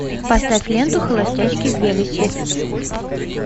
поставь ленту холостячки в вегасе